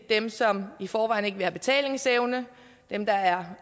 dem som i forvejen ikke vil have betalingsevne dem der er